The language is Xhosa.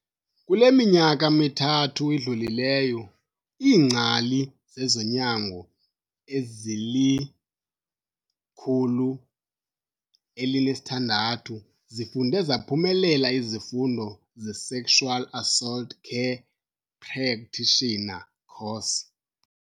Kule minyaka mithathu idlulileyo, iingcali zezonyango ezili-106 zifunde zaphumelela izifundo ze-Sexual Assault Care Practitioner Course.